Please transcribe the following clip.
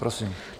Prosím.